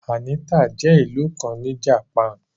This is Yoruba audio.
Anita jẹ́ ìlú kàn ní Japanu